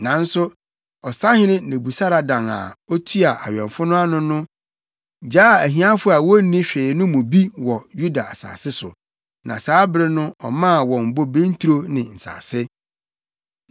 Nanso ɔsahene Nebusaradan a otua awɛmfo no ano no gyaa ahiafo a wonni hwee no mu bi wɔ Yuda asase so, na saa bere no ɔmaa wɔn bobe nturo ne nsase.